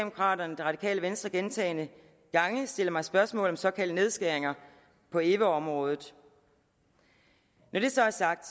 radikale venstre gentagne gange stiller mig spørgsmål om såkaldte nedskæringer på eva området når det så er sagt